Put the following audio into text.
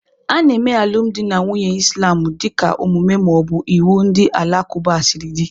Ana eme alụmdi na nwunye Islamu dịka omume ma ọ bụ iwu ndị Alakụba siri dị.